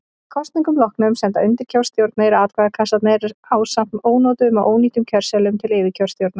Að kosningum loknum senda undirkjörstjórnir atkvæðakassana ásamt ónotuðum og ónýtum kjörseðlum til yfirkjörstjórnar.